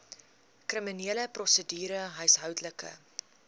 kriminele prosedure huishoudelike